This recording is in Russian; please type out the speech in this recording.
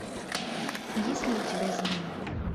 есть ли у тебя змей